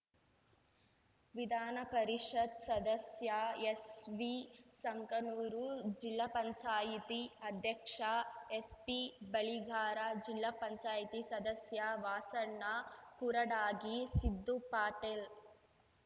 ವಿಧಾನ ಪರಿಷತ್ ಸದಸ್ಯ ಎಸ್ವಿಸಂಕನೂರು ಜಿಲ್ಲಾ ಪಂಚಾಯತಿ ಅಧ್ಯಕ್ಷ ಎಸ್ಪಿಬಳಿಗಾರ ಜಿಲ್ಲಾ ಪಂಚಾಯತಿ ಸದಸ್ಯ ವಾಸಣ್ಣ ಕುರಡಾಗಿ ಸಿದ್ದು ಪಾಟೇಲ್